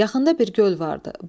Yaxında bir göl vardı.